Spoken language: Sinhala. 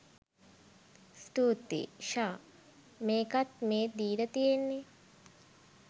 ස්තුතියි! ෂාහ්! මේකත් මේ දීල තියෙන්නේ